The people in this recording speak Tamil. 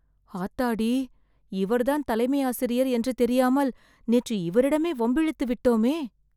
ஆத்தாடி.. இவர்தான் தலைமையாசிரியர் என்று தெரியாமல் நேற்று இவரிடமே வம்பிழுத்துவிட்டோமே..